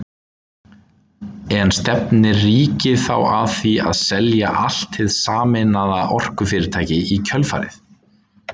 En stefnir ríkið þá að því að selja allt hið sameinaða orkufyrirtæki í kjölfarið?